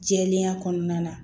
Jɛlenya kɔnɔna na